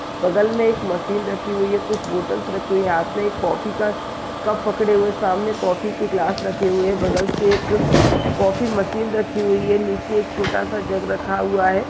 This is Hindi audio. बगल में एक कॉफी मशीन रखी हुई है कुछ बोटल्स रखी हुई है हाथ पे एक कॉफी का कप पकड़े हुए सामने कॉफ़ी की ग्लास रखे हुए है बगल में एक कॉफी मशीन रखी हुई है नीचे एक छोटा सा जग रखा हुआ है ।